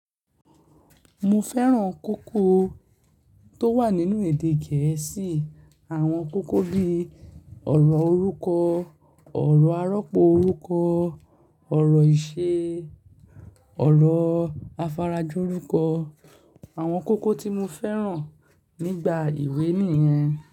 Mo fẹ́ràn kókó tó wà nínú èdè gẹ̀ẹ́sì. Àwọn kókó bí ọ̀rọ̀ orúkọ, ọ̀rọ̀ arọ́pò orúkọ, ọ̀rọ̀ ìṣe, ọ̀rọ̀ afarajorúkọ. Àwọn kókó tí mo fẹ́ràn nígbà ìwé nìyẹn.